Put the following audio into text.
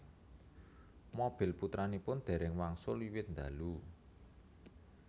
Mobil putranipun déréng wangsul wiwit ndalu